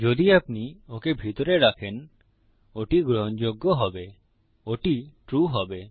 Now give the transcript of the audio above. যদি আপনি ওকে ভিতরে রাখেন ওটি গ্রহণযোগ্য হবে ওটি ট্রু হবে